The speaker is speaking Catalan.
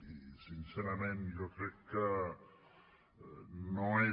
i sincerament jo crec que no és